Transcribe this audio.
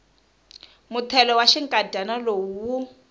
muthelo wa xinkadyana lowu wu